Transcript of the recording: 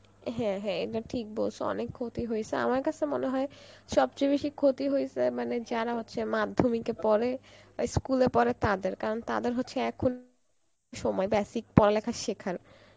হ্যাঁ হ্যাঁ এটা ঠিক বলেছ অনেক ক্ষতি হয়েছে আমার কাছে মনে হয় সবচেয়ে বেশি ক্ষতি হয়েছে মানে যারা হচ্ছে মাধ্যমিক এ পরে, ওই school এ পড়ে তাদের কারণ তাদের হচ্ছে এখন সময় basic পড়ালেখা শেখার